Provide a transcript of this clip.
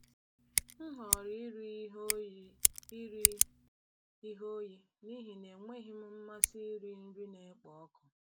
M họọrọ iri ihe oyi iri ihe oyi n’ihi na enweghị m mmasị iri nri na-ekpo ọkụ.